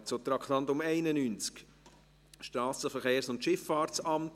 Wir kommen zum Traktandum 91, Strassenverkehrs- und Schifffahrtsamt.